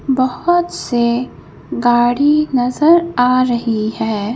बहोत से गाड़ी नजर आ रही है।